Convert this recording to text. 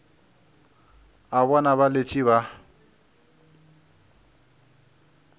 a bona ba letše ba